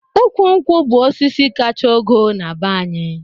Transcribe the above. Ụkwụ nkwụ bụ osisi kacha ogo na-be anyị